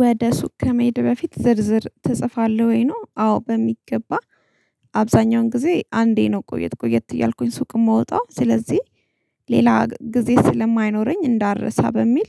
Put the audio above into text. ወደ ሱቅ ከመሄድህ በፊት ዝርዝር ትጽፋለህ ወይ? ነው። አዎ በሚገባ። አብዛኛውን ጊዜ አንዴ ነው ቆየት ቆየት እያልኩኝ ሱቅ የምወጣው። ስለዚህ ሌላ ጊዜ ስለማይኖረኝ እንዳልረሳ በሚል